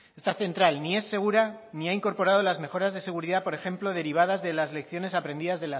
esta central ni es segura ni ha incorporado las mejoras de seguridad por ejemplo derivadas de las lecciones aprendidas